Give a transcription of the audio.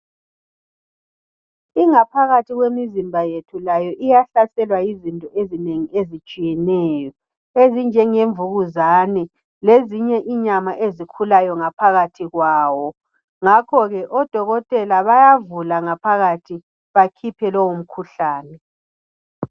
Ingaphakathi yemizimba yethu layo iyahlaselwa yizinto ezinengi ezitshiyeneyo ezinjenge mvukuzane lezinye inyama ezikhulayo ngaphakathi kwawo ngakho ke odokotela bayavula ngaphakathi bakhiphe lowo mkhuhlane.